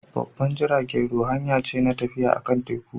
Babban jiragen ruwa hanya ce na tafiya akan teku.